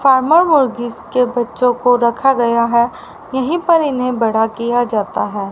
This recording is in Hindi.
फार्मर मुर्गी के बच्चों को रखा गया है यहीं पर इन्हें बड़ा किया जाता है।